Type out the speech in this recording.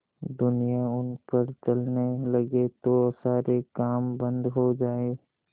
दुनिया उन पर चलने लगे तो सारे काम बन्द हो जाएँ